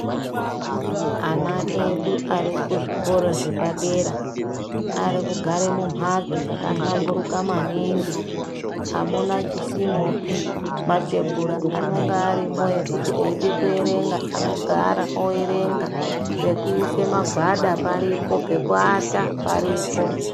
Ana edu arikuzvikora zvepadera arikugare mumhatso dzaka hlamburuka maningi amuna chisimopi. Matebhura anonga arimo ekuti eide kuerenga anogara oerenga. Pekuise magwada paripo, pekuata paripo.